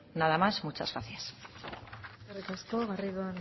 eskerrik asko garrido